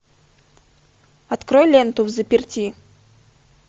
открой ленту взаперти